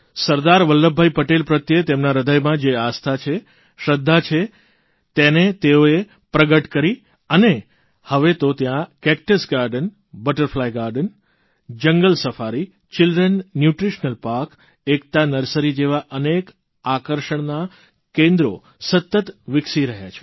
સરદાર વલ્લભભાઇ પટેલ પ્રત્યે તેમના હૃદયમાં જે આસ્થા છે શ્રદ્ધા છે તેને તેઓએ પ્રગટ કરી અને હવે તો ત્યાં cactus garden butterfly garden jungle safari children nutritional park Ekta nursery જેવા અનેક આકર્ષણનાં કેન્દ્રો સતત વિકસી રહ્યાં છે